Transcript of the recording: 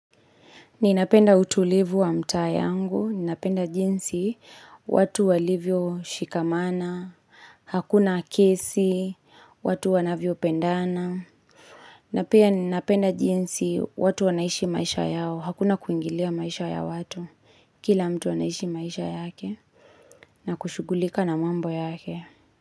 Ninapenda utulivu wa mtaa yangu, ninapenda jinsi watu walivyoshikamana, hakuna kesi, watu wanavyopendana. Na pia ninapenda jinsi watu wanaishi maisha yao, hakuna kuingilia maisha ya watu. Kila mtu anaishi maisha yake na kushughulika na mambo yake.